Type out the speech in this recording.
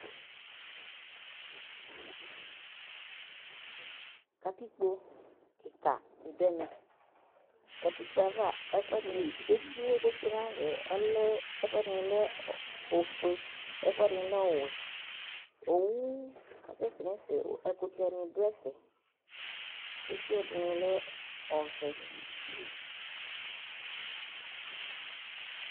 Ƙatikpo ƙɩƙa ɖɩ ɖu ɛmɛ Ƙatɩƙpo ava , étɩ ƙotsoé nava ɔlɛ, ɛƒʊ ɛɖɩŋɩ lɛ oƒoé, ɛƒʊ ɛɖɩŋɩ ɔʋɛ Owʊ ƙasɛsɛ ŋɛƒɛ, Ɛɖɩŋɩ lɛ ɔvɛ